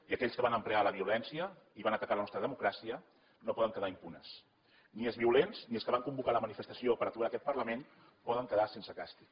i aquells que van emprar la violència i van atacar la nostra democràcia no poden quedar impunes ni els violents ni els que van convocar la manifestació per aturar aquest parlament poden quedar sense càstig